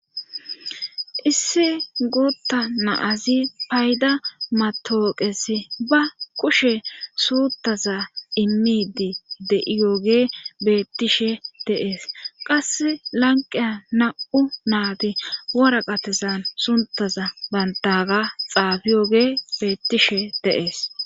Issi guutta na7azi payda matooqesi ba kushe suutaza immidi de7iyooge beettishe de7ees qassi lanqiya na7u naadi waraqatezan suntaza banttaaga xaafiyoge beettishe de7ees.